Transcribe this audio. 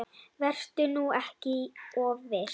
Vertu nú ekki of viss.